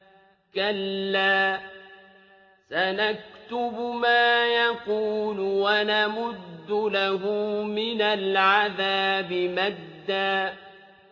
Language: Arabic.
كَلَّا ۚ سَنَكْتُبُ مَا يَقُولُ وَنَمُدُّ لَهُ مِنَ الْعَذَابِ مَدًّا